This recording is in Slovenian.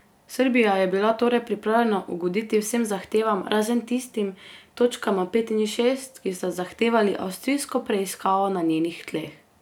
Srbija je bila torej pripravljena ugoditi vsem zahtevam, razen tistim, točkama pet in šest, ki sta zahtevali avstrijsko preiskavo na njenih tleh.